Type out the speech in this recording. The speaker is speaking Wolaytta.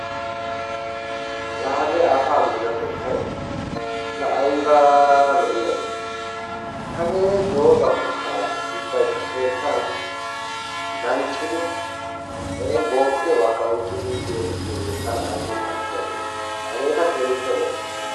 La hagee asaa minotettay la aybaa lo'iyaabe; hagee doza tokkanawu xeessan danccidi iin bookkiyobakka oyqqidi eti biyooge tana ayba ufayssiyabe. Hageekka keehippe lo'o.